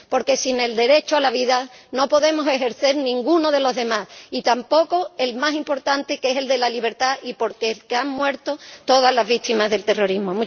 Porque sin el derecho a la vida no podemos ejercer ninguno de los demás, y tampoco el más importante, que es el de la libertad y por el que han muerto todas las víctimas del terrorismo.